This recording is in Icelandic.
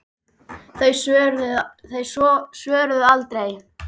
Þau svöruðu aldrei.